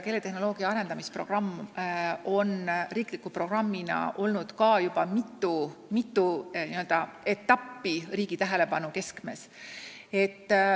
Keeletehnoloogia arendamise programm on riikliku programmina olnud juba mitme etapi kestel riigi tähelepanu keskmes.